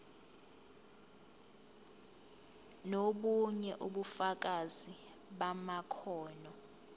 nobunye ubufakazi bamakhono